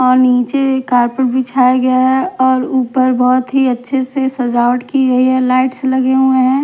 और नीचे कारपेट बिछाया गया है और ऊपर बहोत ही अच्छे से सजावट की गई है लाइट्स लगे हुए हैं।